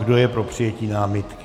Kdo je pro přijetí námitky?